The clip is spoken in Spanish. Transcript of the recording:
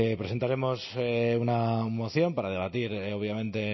presentaremos una moción para debatir obviamente